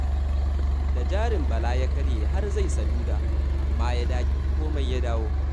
Da jarin Bala ya karye, har zai saduda, amma da ya dage, komai ya dawo.